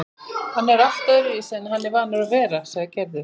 Hann er allt öðruvísi en hann er vanur að vera, sagði Gerður.